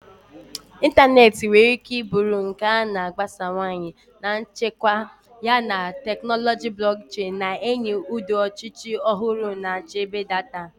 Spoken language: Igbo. Ịntanetị nwere ike bụrụ nke a na-agbasawanye na nchekwa, yana teknụzụ blockchain na-enye ụdị ọchịchị ọhụrụ na nchebe data.